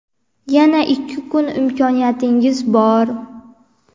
Yana ikki kun imkoniyatingiz bor!.